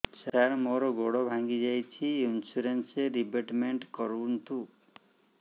ସାର ମୋର ଗୋଡ ଭାଙ୍ଗି ଯାଇଛି ଇନ୍ସୁରେନ୍ସ ରିବେଟମେଣ୍ଟ କରୁନ୍ତୁ